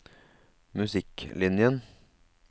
musikklinjen